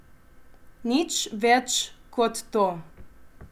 Nič več kot to.